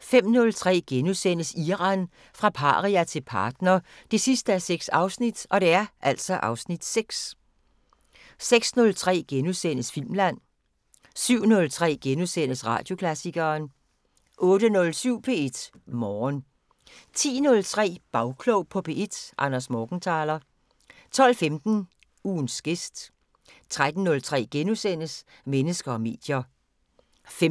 05:03: Iran – fra paria til partner 6:6 (Afs. 6)* 06:03: Filmland * 07:03: Radioklassikeren * 08:07: P1 Morgen 10:03: Bagklog på P1: Anders Morgenthaler 12:15: Ugens gæst 13:03: Mennesker og medier * 15:03: